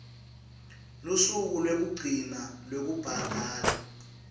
lusuku lwekugcina lwekubhadala